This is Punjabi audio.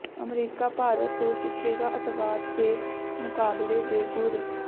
ਅਮਰੀਕਾ ਭਾਰਤ ਤੋਂ ਸਿੱਖੇਗਾ ਅੱਤਵਾਦ ਦੇ ਮੁਕਾਬਲੇ ਦੇ ਗੁਰ